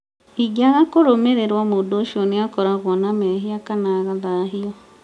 ĩngĩaga kũrũmĩrĩrwo mũndũ ũcio nĩakoragwo na mehia kana agathahio